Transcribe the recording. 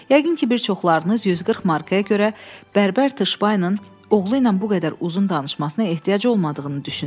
Yəqin ki, bir çoxlarınız 140 markaya görə bərbər Tışpaynın oğlu ilə bu qədər uzun danışmasına ehtiyac olmadığını düşünür.